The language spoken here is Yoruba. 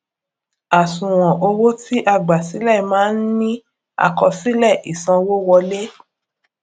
àṣùwòn owó ti a gbà sílẹ máa ń ní àkọsílẹ ìsanwówọlé